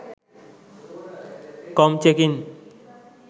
com checkin